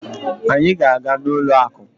Anyị ga-aga n'ụlọ akụ.